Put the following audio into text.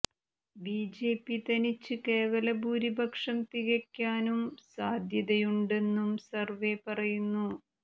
BJP തനിച്ച് കേവല ഭൂരിപക്ഷം തികയ്ക്കാനും സാധ്യതയുണ്ടെന്നും സര്വ്വേ പറയുന്നു